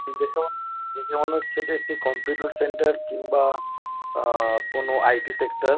দেখে মনে দেখে মনে হচ্ছে এটি একটি কম্পিউটার সেন্টার কিংবা আহ কোন আই .টি সেক্টর ।